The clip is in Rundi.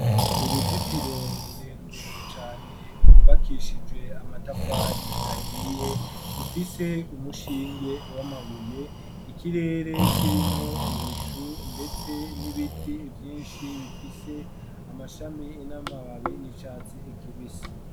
Uruzitiro rurerure cane rwubakishijwe amatafari ahiye rufise umushinge w'amabuye ikirere kirimwo ibicu ndetse n'ibiti ivyinshi bifise amashami n'amababi y'icatsi ikibisi.